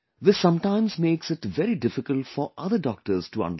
This sometimes makes it very difficult for other doctors to understand